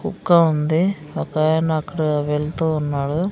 కుక్క ఉంది ఒకాయన అక్కడ వెళ్తూ ఉన్నాడు.